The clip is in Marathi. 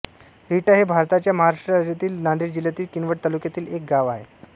रिठा हे भारताच्या महाराष्ट्र राज्यातील नांदेड जिल्ह्यातील किनवट तालुक्यातील एक गाव आहे